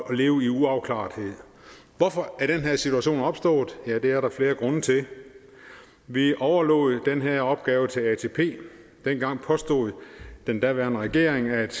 og leve i uafklarethed hvorfor er den her situation opstået ja det er der flere grunde til vi overlod den her opgave til atp dengang påstod den daværende regering at